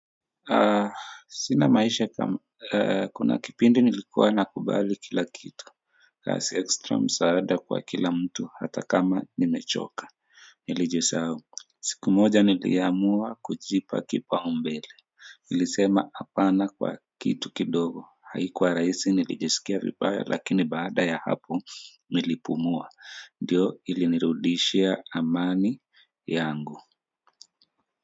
Sina maisha kama kuna kipindi nilikuwa nakubali kila kitu kazi ekstra msaada kwa kila mtu hata kama nimechoka. Nilijisahau siku moja niliamua kujipa kipau mbele. Nilisema hapana kwa kitu kidogo haikuwa rahisi nilijisikia vibaya lakini baada ya hapo nilipumua ndio ilinirudishia amani yangu.